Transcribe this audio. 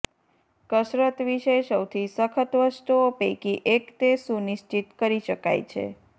કસરત વિશે સૌથી સખત વસ્તુઓ પૈકી એક તે સુનિશ્ચિત કરી શકાય છે